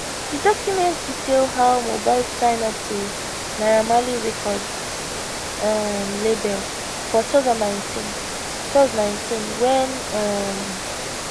di document detail how mohbad sign up to naira marley record um label for 2019 2019 wen um